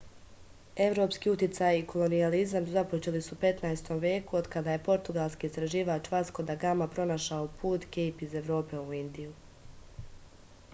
evropski uticaj i kolonijalizam započeli su u 15. veku od kada je portugalski istraživač vasko da gama pronašao put kejp iz evrope u indiju